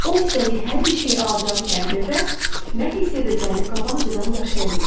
O istədiyi hər bir şeyi alacağı təqdirdə, nə hiss edəcəyini qabaqcadan yaşaya bilir.